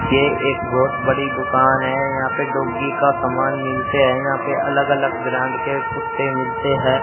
ये एक बहोत बड़ी दुकान है यहां पर डॉगी का समान मिलते हैं यहां पे अलग अलग ब्रांड के कुत्ते मिलते हैं।